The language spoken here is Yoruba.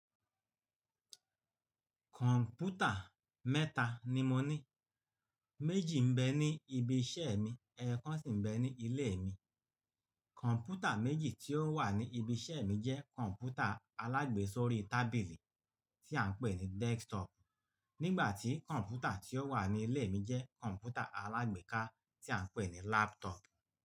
Kọ̀ǹpútà mẹ́ta ni mo ní, méjì ń bẹ ní ibi iṣẹ́ mi, ẹyẹkọ́ sì ń bẹ ní ilé mi. Kọ̀ǹpútà méjì tí ó wà ní ibi iṣẹ́ mi jẹ́ kọ̀ǹpútà alágbèésórí tábìlì tí à ń pè ní desktop, nígbà tí kọ̀ǹpútà tí ó wà ní ilé mi jẹ́ kọ̀ǹpútà alágbèéká tí à ń pè ní laptop.